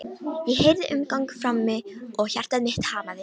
Ég heyrði umgang frammi og hjarta mitt hamaðist.